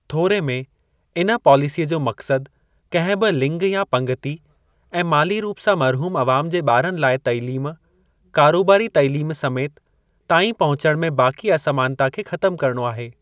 थोरे में, इन पॉलिसीअ जो मक़्सद कहिं बि लिंग या पंगिती ऐं माली रूप सां महरूम अवाम जे ॿारनि लाइ तइलीम (कारोबारी तइलीम समेति) ताईं पहुचण में बाक़ी असमानता खे ख़तम करणो आहे।